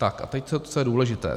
Tak a teď co je důležité.